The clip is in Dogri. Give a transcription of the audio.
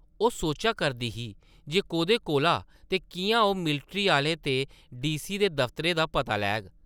ओह् सोचा करदी ही जे कोह्दे कोला ते किʼयां ओह् मिल्ट्री आह्लें ते डी.सी. दे दफ्तरै दा पता लैग?